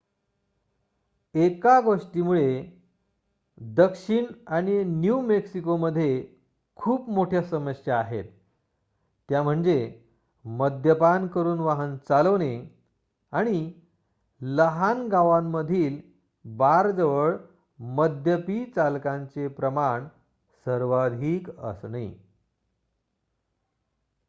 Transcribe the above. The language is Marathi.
एका गोष्टीमुळे दक्षिण न्यू मॅक्सिकोमध्ये खूप मोठ्या समस्या आहेत त्या म्हणजे मद्यपान करून वाहन चालवणे आणि लहान गावांमधील बारजवळ मद्यपी चालकांचे प्रमाण सर्वाधिक असणे